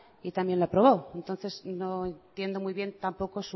y también lo aprobó entonces no entiendo muy bien tampoco